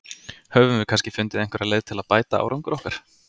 Höfum við kannski fundið einhverja leið til að bæta árangur okkar?